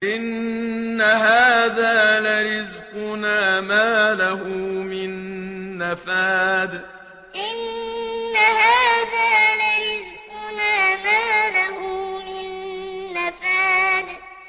إِنَّ هَٰذَا لَرِزْقُنَا مَا لَهُ مِن نَّفَادٍ إِنَّ هَٰذَا لَرِزْقُنَا مَا لَهُ مِن نَّفَادٍ